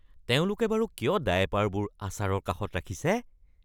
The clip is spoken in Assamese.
তেওঁলোকে বাৰু কিয় ডায়েপাৰবোৰ আচাৰৰ কাষত ৰাখিছে?